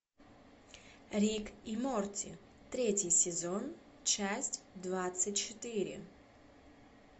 рик и морти третий сезон часть двадцать четыре